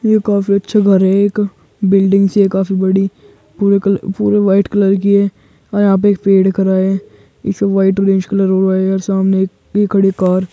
ये काफी अच्छा घर हैं एक बिल्डिंग सी है काफी बड़ी पूरे कल पूरे वाइट कलर की है और एक यहाँ पे एक पेड़ खड़ा है। इसे वाइट ऑरेंज कलर हुआ है यार सामने एक खड़ी कार --